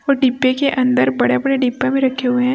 और डिब्बे के अंदर बड़े बड़े डिब्बा भी रखे हुए हैं।